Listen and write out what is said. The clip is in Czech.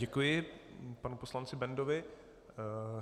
Děkuji panu poslanci Bendovi.